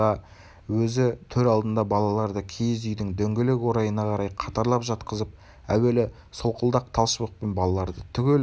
өзі төр алдында балаларды киіз үйдің дөңгелек орайына қарай қатарлап жатқызып әуелі солқылдақ тал шыбықпен балаларды түгел бір-бір